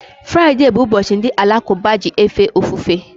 Friday bụ ụbọchị ndi alakuba ji efe ofufe